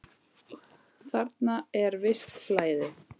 Þarna er visst flæði.